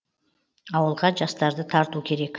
ауылға жастарды тарту керек